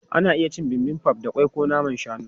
Ana iya cin Bibimbap da ƙwai ko naman shanu.